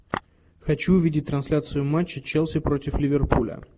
хочу увидеть трансляцию матча челси против ливерпуля